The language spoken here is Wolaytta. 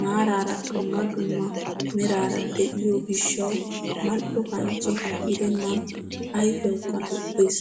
maarara dumma dumma meraara de'iyoo gishshawu mal"o kanchche gidennan ayfiyawukka lo"ees.